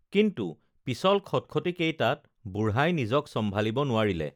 কিন্তু পিচল খটখটী কেইটাত বুঢ়াই নিজক চম্ভালিব নোৱাৰিলে